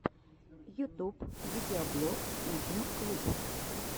ютуб видеоблог идмм клуб